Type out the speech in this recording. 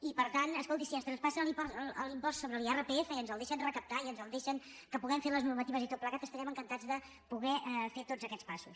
i per tant escolti si ens traspassen l’impost sobre l’irpf i ens el deixen recaptar i ens el deixen que puguem fer les normatives i tot plegat estarem encantats de poder fer tots aquests passos